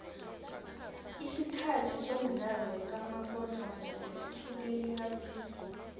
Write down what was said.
isikhathi somdlalo kamabona kude sihlukene kabili